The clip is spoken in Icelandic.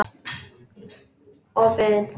Opið inn!